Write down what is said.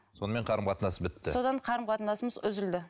сонымен қарым қатынас бітті содан қарым қатынасымыз үзілді